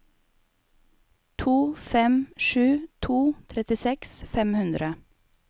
to fem sju to trettiseks fem hundre